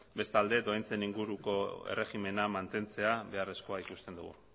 bestalde doaintzen inguruko erregimena mantentzea beharrezkoa ikusten dugu